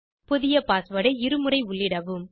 புதிய passwordஐ இருமுறை உள்ளிடவும்